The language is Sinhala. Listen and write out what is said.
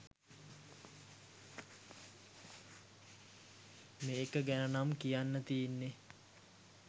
මේක ගැනනම් කියන්න තියෙන්නේ